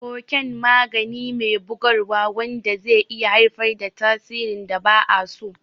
Koken magani me bugarwa wanda zai iya haifar da tasirin da ba a so.